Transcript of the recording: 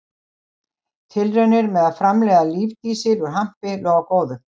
Tilraunir með að framleiða lífdísil úr hampi lofa góðu.